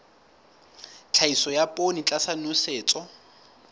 tlhahiso ya poone tlasa nosetso